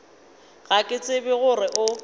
ga ke tsebe gore o